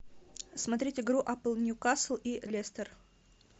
смотреть игру апл ньюкасл и лестер